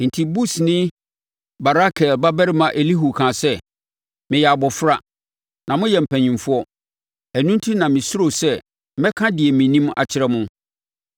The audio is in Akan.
Enti Busini Barakel babarima Elihu kaa sɛ, “Meyɛ abɔfra, na moyɛ mpanimfoɔ; ɛno enti na mesuroo sɛ mɛka deɛ menim akyerɛ mo.